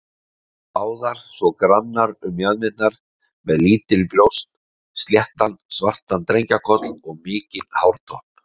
Báðar svona grannar um mjaðmirnar, með lítil brjóst, sléttan, svartan drengjakoll og mikinn hártopp.